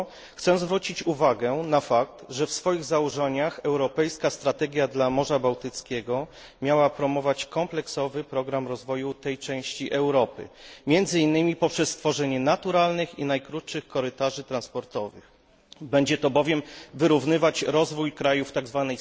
Chcę zwrócić uwagę na fakt, że w swoich założeniach europejska strategia dla Morza Bałtyckiego miała promować kompleksowy program rozwoju tej części Europy, między innymi poprzez stworzenie naturalnych i najkrótszych korytarzy transportowych, dla wyrównywania rozwoju krajów tzw.